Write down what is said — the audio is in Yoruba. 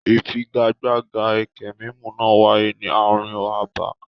Ìfigagbága ẹkẹ mímù náà wáyé ní ààrin abà.